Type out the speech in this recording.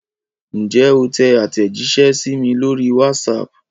Ǹjẹ́ o tẹ àtẹ̀jíṣẹ́ sí mi lórí WhatsApp?